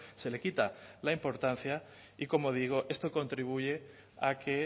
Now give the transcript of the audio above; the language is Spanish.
se le quita la importancia y como digo esto contribuye a que